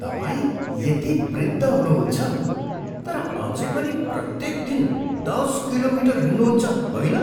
तपाईँ यति वृद्ध हुनुहुन्छ तर अझै पनि प्रत्येक दिन दस किलोमिटर हिँड्नुहुन्छ, होइन?